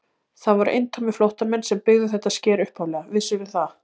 Það voru eintómir flóttamenn sem byggðu þetta sker upphaflega, vissirðu það?